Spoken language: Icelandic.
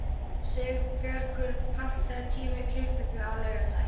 Sigurbergur, pantaðu tíma í klippingu á laugardaginn.